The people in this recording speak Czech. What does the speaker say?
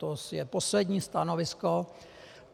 To je poslední stanovisko.